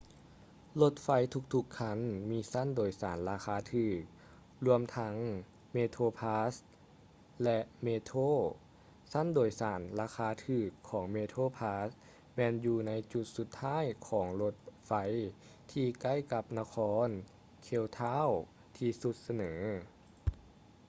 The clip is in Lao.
ລົດໄຟທຸກໆຄັນມີຊັ້ນໂດຍສານລາຄາຖືກ ລວມທັງ ເມໂທຼພຼັສ໌ metroplus ແລະ ເມໂທຼ metro; ຊັ້ນໂດຍສານລາຄາຖືກຂອງ ເມໂທຼພຼັສ໌ metroplus ແມ່ນຢູ່ໃນຈຸດສຸດທ້າຍຂອງລົດໄຟທີ່ໃກ້ກັບນະຄອນ ເຄບທາວນ໌ cape town ທີ່ສຸດສະເໝີ